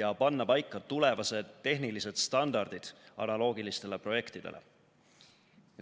ja panna paika tulevased tehnilised standardid analoogilistele projektidele.